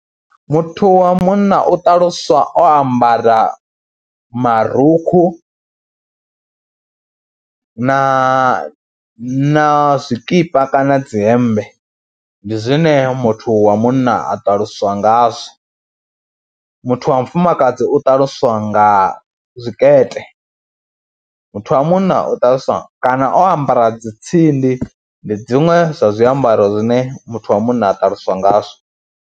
Muthu wa munna u ṱaluswa o ambara marukhu na na zwikipa kana dzi hembe, ndi zwine muthu wa munna a ṱaluswa ngazwo muthu wa mufumakadzi u ṱaluswa nga zwikete, muthu wa munna u ṱaluswa kana o ambara dzi tsindi, ndi dziṅwe zwa zwiambaro zwine muthu wa munna a ṱaluswa ngazwo.